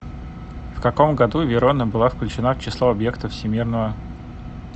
в каком году верона была включена в число объектов всемирного